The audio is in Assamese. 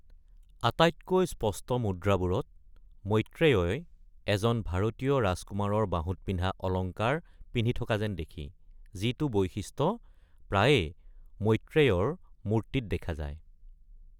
আটাইতকৈ স্পষ্ট মুদ্ৰাবোৰত মৈত্ৰেয়ই এজন ভাৰতীয় ৰাজকুমাৰৰ বাহুত পিন্ধা অলংকাৰ পিন্ধি থকা যেন দেখি, যিটো বৈশিষ্ট্য প্ৰায়ে মৈত্ৰেয়ৰ মূৰ্তিত দেখা যায়।